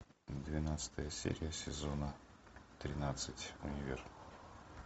двенадцатая серия сезона тринадцать универ